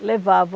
levavam